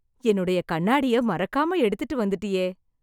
என்னுடைய கண்ணாடியை மறக்காம எடுத்துட்டு வந்துட்டியே.